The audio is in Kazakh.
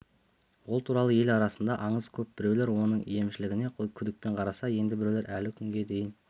ол туралы ел арасында аңыз көп біреулер оның емшілігіне күдікпен қараса енді біреулер әлі күнге дейін